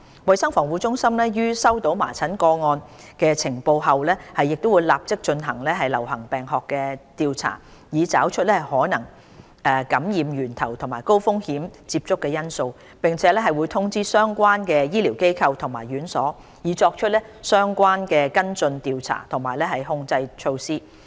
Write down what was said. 衞生防護中心於接獲麻疹個案的呈報後會立即進行流行病學調查，以找出可能的感染源頭和高風險接觸因素，並會通知相關的醫療機構和院所，以作出相應的跟進調查和控制措施。